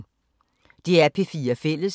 DR P4 Fælles